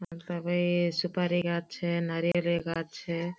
उपीती सुपारी गाछ छे नारियलेर गाछ छे।